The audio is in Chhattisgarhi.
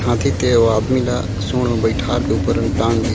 हाथी ते वो आदमी ला सूंड में बइठार के ऊपर टांग दिस--